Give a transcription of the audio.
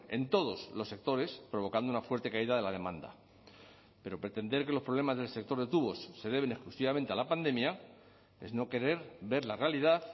en todos los sectores provocando una fuerte caída de la demanda pero pretender que los problemas del sector de tubos se deben exclusivamente a la pandemia es no querer ver la realidad